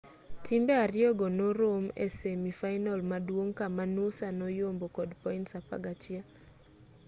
timbe ariyogo norom e semi fainal maduong' kama noosa noyombo kod points 11